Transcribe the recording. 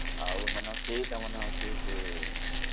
ଆଉ ସେଇଟି ମଧ୍ୟ ଅଛି